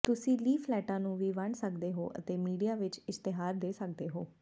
ਤੁਸੀਂ ਲੀਫ਼ਲੈੱਟਾਂ ਨੂੰ ਵੀ ਵੰਡ ਸਕਦੇ ਹੋ ਅਤੇ ਮੀਡੀਆ ਵਿੱਚ ਇਸ਼ਤਿਹਾਰ ਦੇ ਸਕਦੇ ਹੋ